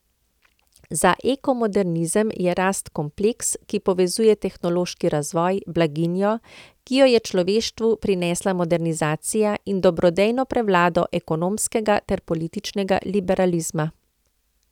Za ekomodernizem je rast kompleks, ki povezuje tehnološki razvoj, blaginjo, ki jo je človeštvu prinesla modernizacija, in dobrodejno prevlado ekonomskega ter političnega liberalizma.